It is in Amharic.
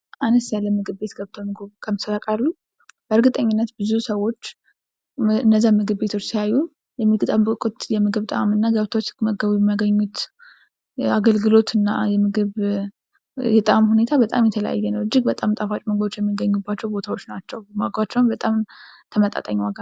አነስ ያለ ምግብ ቤት ገብተው ምግቡን ቀምሰው ሲያወቃሉ በእርግጠኝነት ብዙ ሰዎች እነዚያን ምግብ ቤቶች ሲያዩ የሚጠብቁት የምግብ ጣዕም እና ገብተው ሲመገቡ የሚያገኙት አገልግሎት እና ምግብ ጣዕም ሁኔታ በጣም የተለያየ ነው። እጅግ በጣም ጣፋጭ ምግቦች የሚገኙባቸዉ ቦታዎች ናቸው። ዋጋቸው በጣም ተመጣጣኝ ዋጋ ነው።